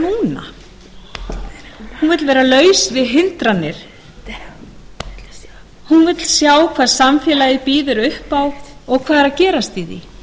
núna hún vill vera laus við hindranir vill sjá hvað samfélagið býður upp á og hvað er að gerast í